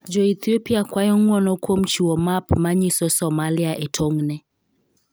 Jo Ethiopia kwayo ng'wono kuom chiwo map ma nyiso Somalia e tong'ne